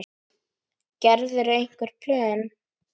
Gerirðu einhver plön?